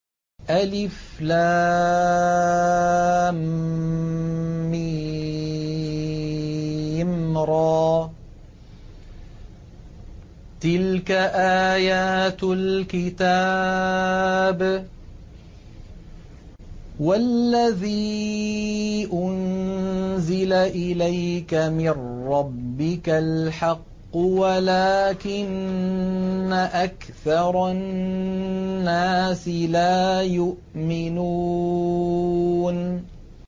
المر ۚ تِلْكَ آيَاتُ الْكِتَابِ ۗ وَالَّذِي أُنزِلَ إِلَيْكَ مِن رَّبِّكَ الْحَقُّ وَلَٰكِنَّ أَكْثَرَ النَّاسِ لَا يُؤْمِنُونَ